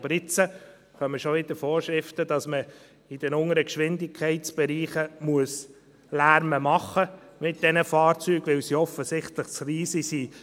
Aber jetzt kommen schon wieder Vorschriften, dass man in den unteren Geschwindigkeitsbereichen Lärm mit diesen Fahrzeugen machen muss, weil sie offensichtlich zu leise sind.